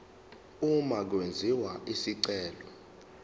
uma kwenziwa isicelo